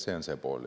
See on see pool.